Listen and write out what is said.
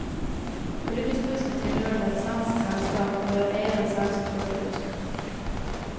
Ulykkesbussen tilhørte et svensk selskap, og det var eieren selv som førte bussen.